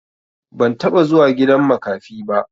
Ban taɓa zuwa gidan makafi ba.